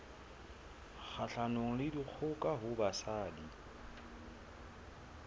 kgahlanong le dikgoka ho basadi